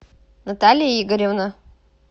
наталья игоревна